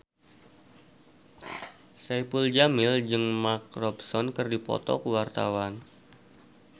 Saipul Jamil jeung Mark Ronson keur dipoto ku wartawan